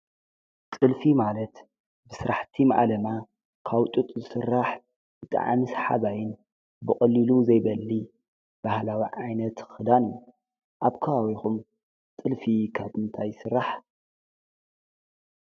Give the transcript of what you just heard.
ጽልፊ ማለት ብሥራሕቲ መዓለማ ካውጡጥ ዝሥራሕ እጠዓምስ ሓባይን ብቕልሉ ዘይበሊ በህላዊ ዓይነት ኽዳን ኣብ ካዋዊኹም ጥልፊ ኸትንታይ ሥራሕ።